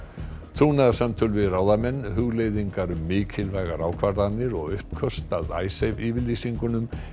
trúnaðarsamtöl við ráðamenn hugleiðingar um mikilvægar ákvarðanir og uppköst að Icesave yfirlýsingunum